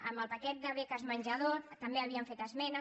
en el paquet de beques menjador també hi havíem fet esmenes